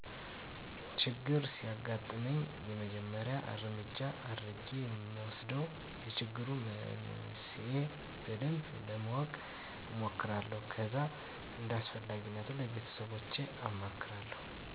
ችግር ሲያግጥመኝ የመጀመሪያ እረምጃ የአድረጌ እምወስደው የችግሩን መንስሄ በደንብ ለማወቅ እሞክራለሁ ከዛ እንዳስፈላጊነቱ ለቤተሰቦቸ አማክራለሁ።